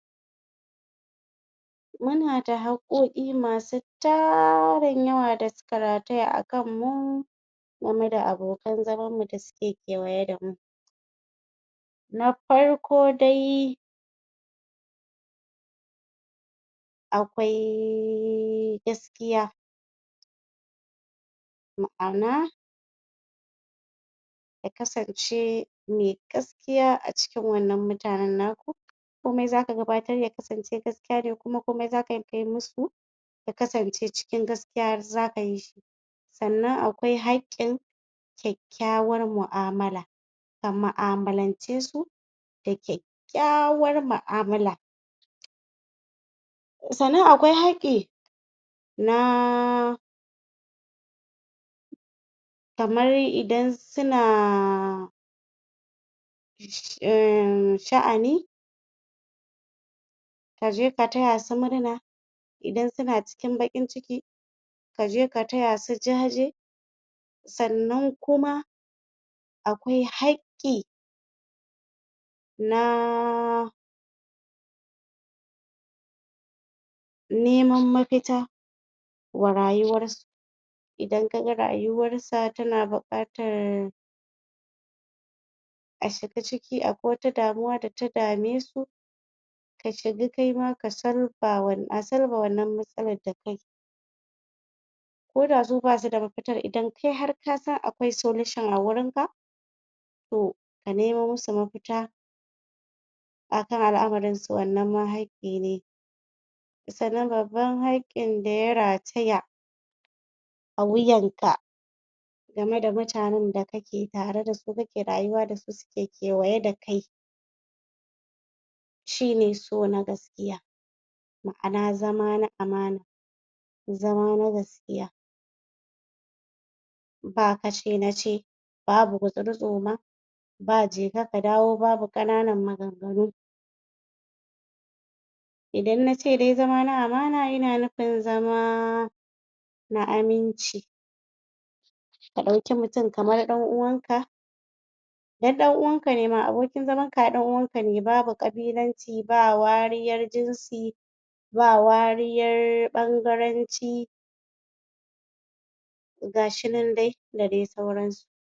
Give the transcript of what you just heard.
muna da haƙƙoƙi masu tarin yawa da suka rataya a kanmu game da abokan zaman mu da suke kewaye damu na farko dai akwai gaskiya ma'ana ya kasance me gaskiya acikin wannan mutanen naku komai zaka gabatar ya kasance gaskiya ne kuma komai zakai musu ya kasan ce cikin gaskiya zaka yishi sannan akwai haƙƙin kyakkyawar mu'amala ka mu'amalance su da kyakkayawar mu'amala sannan akwai haƙƙi naa kamar idan suna in sha'ani kaje ka taya su murna idan suna cikin baƙin ciki kaje ka taya su jaje sannan kuma akwai haƙƙi naa neman mafita wa rayuwar su idan kaga rayuwar sa tana buƙatar a shiga ciki akwai wata damuwa data dame su ka shiga kaima ka solver a solver wannan matsalar dakai koda su basu da mafitar idan kai har kasan akwai solution a gurinka to ka nemo musu mafita akan al'amarin su wannan ma haƙƙi ne sannan babban haƙƙin daya rataya a wuyanka game da mutanen da kake tare dasu kake rayuwa dasu suke kewaye dakai shine so na gaskiya ma'ana zama na amana zama na gaskiya ba kace nace babu gutsiri tsoma ba jeka ka dawo babu ƙananan maganganu idan nace dai zama na amana ina nufin zama na aminci ka ɗauki mutum kamar ɗan uwan ka ai ɗan uwan kane ma abokin zaman ka ai ɗan uwan kane babu ƙabilanci ba wariyar jinsi ba wariyar ɓangaranci gashi nan dai da dai sauransu